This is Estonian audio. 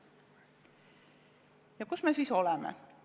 Ja kus me siis oleme?